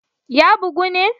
Ya bugu ne?